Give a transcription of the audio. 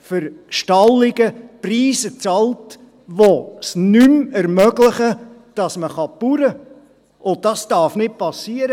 für Stallungen Preise bezahlt, die es nicht mehr ermöglichen, dass man Landwirtschaft betreiben kann, und das darf nicht geschehen.